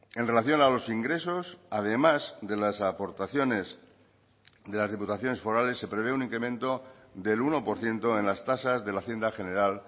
en relación a los ingresos además de las aportaciones de las diputaciones forales se prevé un incremento del uno por ciento en las tasas de la hacienda general